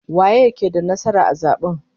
Waye ke da nasara a zaben?